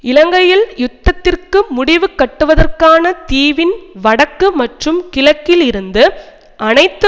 இலங்கையில் யுத்தத்திற்கு முடிவுகட்டுவதற்கான தீவின் வடக்கு மற்றும் கிழக்கில் இருந்து அனைத்து